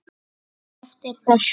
Annað var eftir þessu.